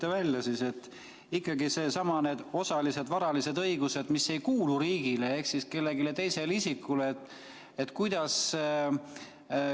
ikkagi nendessamades osalistes varalistes õigustes, mis ei kuulu riigile ehk siis kellelegi teisele.